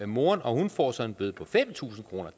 moren og hun får så en bøde på fem tusind kroner